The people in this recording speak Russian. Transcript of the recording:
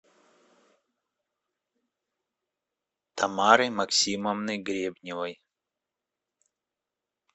тамары максимовны гребневой